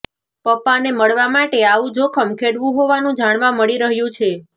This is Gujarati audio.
પપ્પાને મળવા માટે આવુ જોખમ ખેડવું હોવાનું જાણવા મળી રહ્યું છે